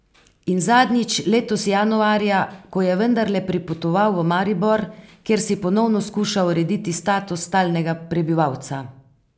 In zadnjič letos januarja, ko je vendarle pripotoval v Maribor, kjer si ponovno skuša urediti status stalnega prebivalca.